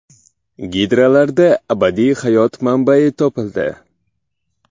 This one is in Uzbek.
Gidralarda abadiy hayot manbai topildi.